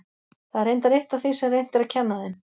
Það er reyndar eitt af því sem reynt er að kenna þeim.